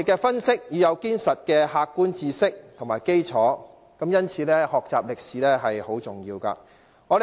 分析問題靠賴堅實的客觀知識和基礎，因此學習歷史很重要。